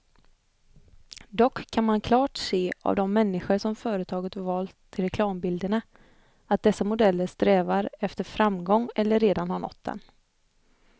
Dock kan man klart se av de människor företaget valt till reklambilderna, att dessa modeller strävar efter framgång eller redan har nått den.